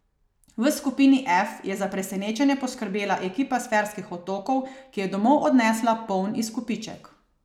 V skupini F je za presenečenje poskrbela ekipa s Ferskih otokov, ki je domov odnesla poln izkupiček.